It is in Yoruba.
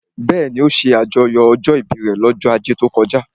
Bẹ́ẹ̀ni, ó ṣe àjọyọ̀ ọjọ́ ìbí rẹ̀ lọ́jọ́ ajé tó kọjá